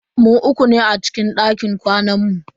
Mu uku ne a cikin dakin kwanan mu.